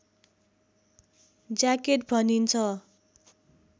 jacket भनिन्छ